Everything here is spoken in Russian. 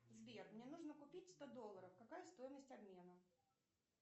сбер мне нужно купить сто долларов какая стоимость обмена